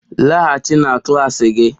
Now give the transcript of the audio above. Laghachi na klas gị!